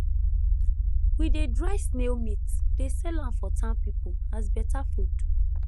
we dey dry snail meat dey sell am for town people as better food